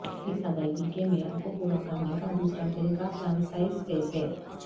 اس ادائیگی کے معیار کو پورا کرنے کا دوسرا طریقہ فرانسسائز فیس ہے